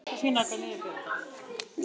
Þú getur komið fram, Gugga!